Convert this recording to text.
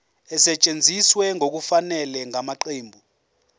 esetshenziswe ngokungafanele ngamaqembu